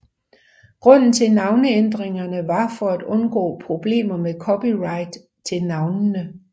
Grunden til navneændringerne var for at undgå problemer med copyright til navnene